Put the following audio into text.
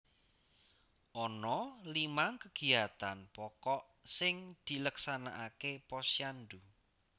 Ana limang kegiyatan pokok sing dileksanakake Posyandu